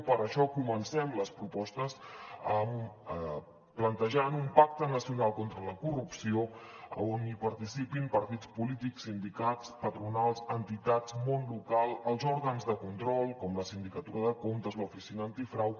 per això comencem les propostes plantejant un pacte nacional contra la corrupció on hi participin partits polítics sindicats patronals entitats món local els òrgans de control com la sindicatura de comptes l’oficina antifrau